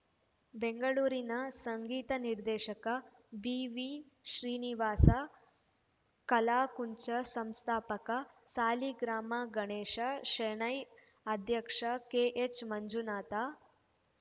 ಬೆಂಗಳೂರಿನ ಸಂಗೀತ ನಿರ್ದೇಶಕ ಬಿವಿಶ್ರೀನಿವಾಸ ಕಲಾಕುಂಚ ಸಂಸ್ಥಾಪಕ ಸಾಲಿಗ್ರಾಮ ಗಣೇಶ ಶೆಣೈ ಅಧ್ಯಕ್ಷ ಕೆಎಚ್‌ಮಂಜುನಾಥ